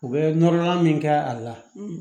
U bɛ nɔrɔ nɔrɔ min kɛ a la